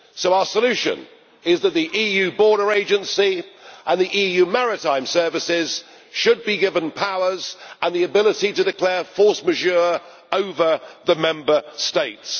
So our solution is that the EU border agency and the EU maritime services should be given powers and the ability to declare force majeure over the Member States!